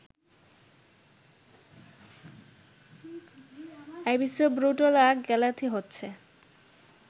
Abyssobrotula galatheae হচ্ছে